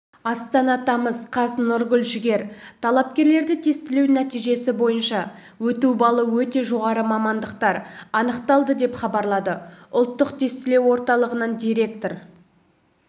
астана тамыз қаз нұргүл жігер талапкерлерді тестілеу нәтижесі бойынша өту балы өте жоғары мамандықтар анықталды деп хабарлады ұлттық тестілеу орталығының директоры